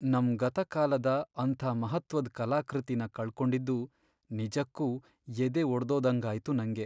ನಮ್ ಗತಕಾಲದ ಅಂಥ ಮಹತ್ತ್ವದ್ ಕಲಾಕೃತಿನ ಕಳ್ಕೊಂಡಿದ್ದು ನಿಜಕ್ಕೂ ಎದೆ ಒಡ್ದೋದಂಗಾಯ್ತು ನಂಗೆ.